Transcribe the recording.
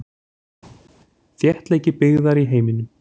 Þéttleiki byggðar í heiminum.